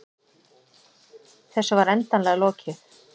Þessu var endanlega lokið.